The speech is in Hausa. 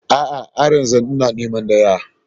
A'a, har yanzu ina neman daya.